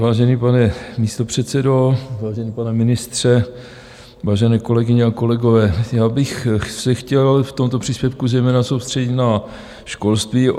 Vážený pane místopředsedo, vážený pane ministře, vážené kolegyně a kolegové, já bych se chtěl v tomto příspěvku zejména soustředit na školství.